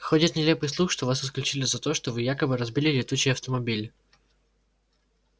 ходит нелепый слух что вас исключили за то что вы якобы разбили летучий автомобиль